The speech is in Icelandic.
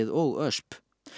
og ösp